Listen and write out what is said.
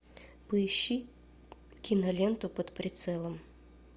поищи киноленту под прицелом